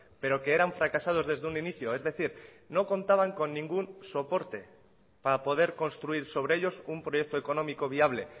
pero que eran fracasados desde un inicio es decir no contaban con ningún soporte para poder construir sobre ellos un proyecto económico viable